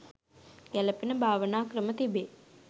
ගැළපෙන භාවනා ක්‍රම තිබේ.